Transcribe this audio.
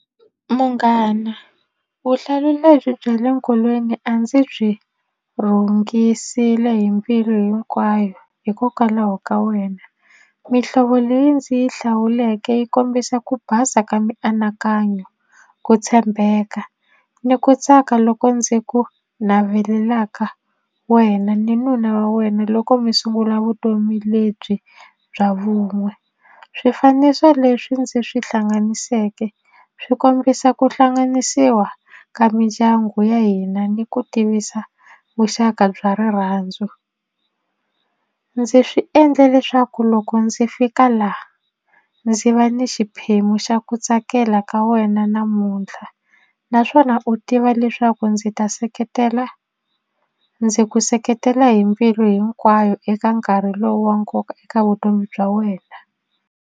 Munghana vuhlalu lebyi bya le nkolweni a ndzi byi rhungisile hi mbilu hinkwayo hikokwalaho ka wena mihlovo leyi ndzi yi hlawuleke yi kombisa ku basa ka mianakanyo ku tshembeka ni ku tsaka loko ndzi ku navelaka wena ni nuna wa wena loko mi sungula vutomi lebyi bya vun'we swifaniso leswi ndzi swi hlanganiseke swi kombisa ku hlanganisiwa ka mindyangu ya hina ni ku tivisa vuxaka bya rirhandzu ndzi swi endle leswaku loko ndzi fika la ndzi va ni xiphemu xa ku tsakela ka wena namuntlha naswona u tiva leswaku ndzi ta seketela ndzi ku seketela hi mbilu hinkwayo eka nkarhi lowu wa nkoka eka vutomi bya wena.